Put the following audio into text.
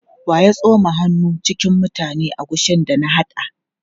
Wa ya tsoma hannu cikin mutane agushin da na haɗa?